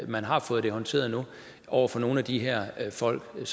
man har fået det håndteret nu over for nogle af de her folk vil